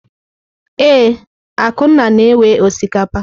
Ee, Akunna na-ewe osikapa.